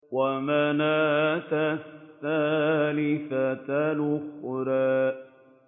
وَمَنَاةَ الثَّالِثَةَ الْأُخْرَىٰ